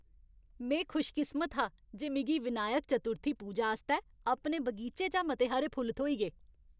में खुशकिस्मत हा जे मिगी विनायक चतुर्थी पूजा आस्तै अपने बगीचे चा मते हारे फुल्ल थ्होई गे।